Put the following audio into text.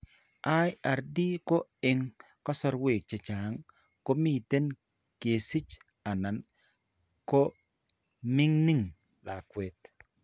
IRD ko eng' kasarwek chechang' komiten kesiche anan ko miing'in lakwet.